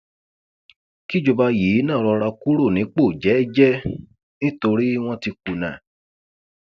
kíjọba yìí náà rọra kúrò nípò jẹẹjẹ nítorí wọn ti kùnà